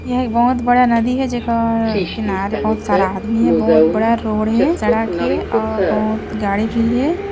यह एक बोहोत बड़ा नदी हे जेकर किनारे बोहोत सारा आदमी हे बोहोत बड़ा रोड हे सड़क हे ओर बहुत गाड़ी भी हे।